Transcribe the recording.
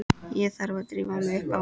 Ég þarf að drífa mig upp á